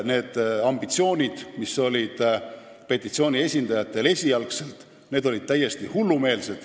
Need ambitsioonid, mis olid petitsiooni esindajatel esialgu, olid täiesti hullumeelsed.